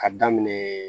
Ka daminɛ